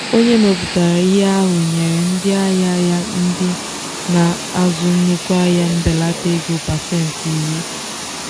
onye mepụtara ihe ahụ nyere ndị ahịa ya ndị na-azụ nnukwu ahịa mbelata ego pasentị iri.